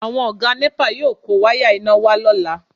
Àwọn Ọ̀gá nẹ́pà yóò kó wáyà iná wá lọ́la